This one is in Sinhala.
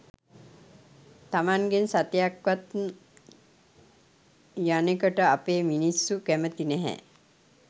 තමන්ගෙන් සතයක් වත් යනෙකට අපෙ මිනිස්සු කැමති නැහැ.